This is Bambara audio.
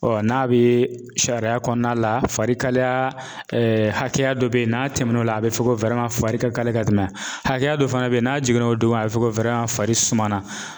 n'a bɛ sariya kɔnɔna la, farikalaya hakɛya dɔ bɛ yen n'a tɛmɛn'o la, a bɛ fɔ ko fari ka kali ka tɛmɛ, hakɛya dɔ fana bɛ yen n'a jiginna o duguma a bɛ fɔ ko fari suma na .